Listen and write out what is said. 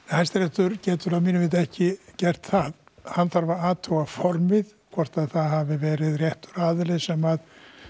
Hæstiréttur getur að mínu viti ekki gert það hann þarf að athuga formið hvort það hafi verið réttur aðili sem